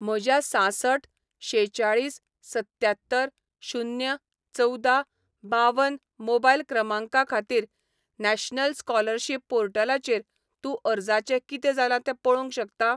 म्हज्या सांसठ शेचाळीस सत्त्यात्तर शून्य चवदा बावन मोबायल क्रमांका खातीर नॅशनल स्कॉलरशिप पोर्टलाचेर तूं अर्जाचें कितें जालां तें पळोवंक शकता?